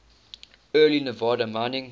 early nevada mining